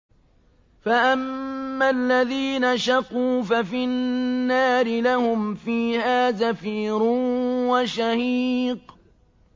فَأَمَّا الَّذِينَ شَقُوا فَفِي النَّارِ لَهُمْ فِيهَا زَفِيرٌ وَشَهِيقٌ